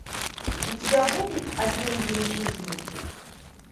у тебя будет один день жизни